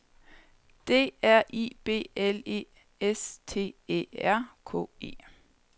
D R I B L E S T Æ R K E